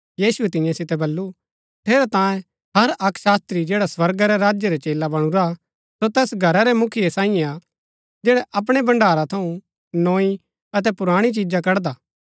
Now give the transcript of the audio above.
यीशुऐ तियां सितै बल्लू ठेरैतांये हर अक्क शास्त्री जैडा स्वर्गा रै राज्य रा चेला बणुरा सो तैस घरा रै मुखिया साईयें हा जैडा अपणै भण्ड़ारा थऊँ नोई अतै पुराणी चिजा कड़दा